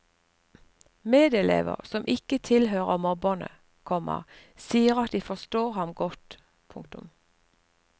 Medelever som ikke tilhører mobberne, komma sier at de forstår ham godt. punktum